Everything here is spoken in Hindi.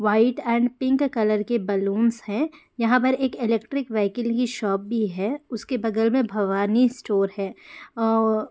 व्हाइट एंड पिंक कलर की बैलूनस हैं । यहाँ पर एक इलेक्ट्रिक विहकल की शॉप भी है उसके बगल में भवानी स्टोर है । अ --